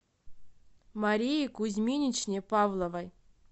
марии кузьминичне павловой